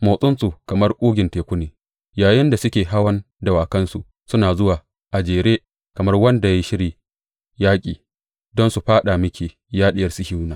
Motsinsu kamar ƙugin teku ne yayinda suke hawan dawakansu; suna zuwa a jere kamar wanda ya yi shirin yaƙi don su fāɗa miki, ya Diyar Sihiyona.